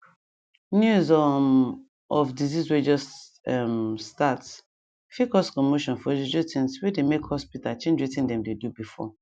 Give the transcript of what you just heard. news um of disease way just um start fit cause commotion for juju things way they make hospita change wetin dem dey do before